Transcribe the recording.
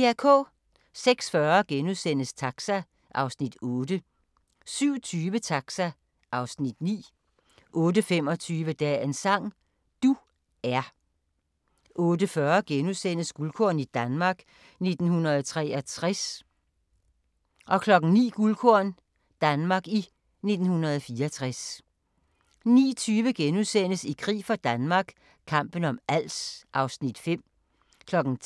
06:40: Taxa (Afs. 8)* 07:20: Taxa (Afs. 9) 08:25: Dagens sang: Du er 08:40: Guldkorn - Danmark i 1963 * 09:00: Guldkorn - Danmark i 1964 09:20: I krig for Danmark – kampen om Als (Afs. 5)* 10:00: